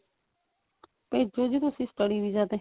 ਭੇਜੋ ਜੀ ਤੁਸੀਂ study visa ਤੇ